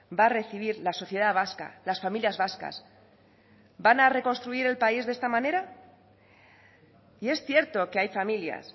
va a recibir la sociedad vasca las familias vascas van a reconstruir el país de esta manera y es cierto que hay familias